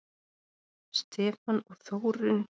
Stefán og Þórunn.